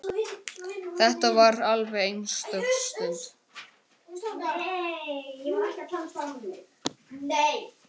Þetta var alveg einstök stund.